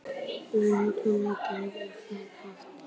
Lögreglan girðir þinghúsið af